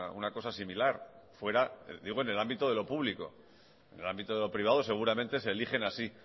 una cosa similar fuera digo en el ámbito de lo público en el ámbito de lo privado seguramente se eligen así